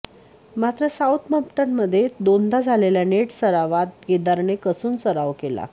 मात्र साऊथम्पटनमध्ये दोनदा झालेल्या नेट सरावात केदारने कसून सराव केला